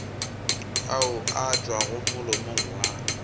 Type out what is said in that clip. ao a tšwago molomong wa